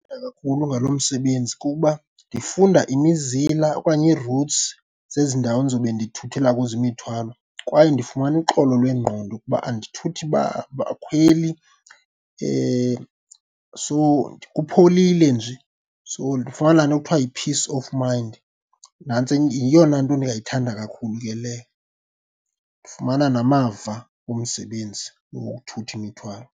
kakhulu ngalo msebenzi kukuba ndifunda imizila okanye ii-routes zezi ndawo ndizobe ndithuthela kuzo imithwalo. Kwaye ndifumana uxolo lwengqondo kuba andithuthi bakhweli , so kupholile nje, so ndifumana laa nto kuthiwa yi-peace of mind, nantso yeyona nto ndingayithanda kakhulu ke leyo. Ndifumana namava omsebenzi lo wokuthutha imithwalo.